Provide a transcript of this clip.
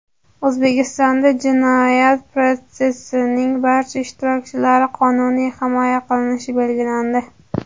O‘zbekistonda jinoyat protsessining barcha ishtirokchilari qonuniy himoya qilinishi belgilandi.